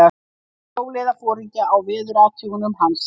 sjóliðsforingja á veðurathugunum hans.